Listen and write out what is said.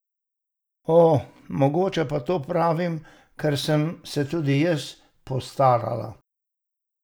O, mogoče pa to pravim, ker sem se tudi jaz postarala!